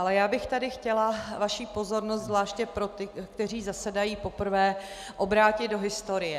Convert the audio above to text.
Ale já bych tady chtěla vaši pozornost - zvláště pro ty, kteří zasedají poprvé - obrátit do historie.